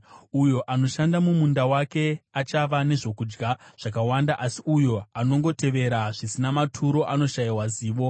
Uyo anoshanda mumunda wake achava nezvokudya zvakawanda, asi uyo anongotevera zvisina maturo anoshayiwa zivo.